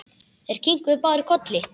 Þeir kinkuðu báðir kolli.